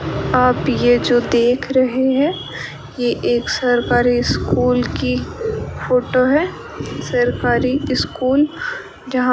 आप ये जो देख रहे हैं ये एक सरकारी स्कूल की फोटो है सरकारी स्कूल जहां --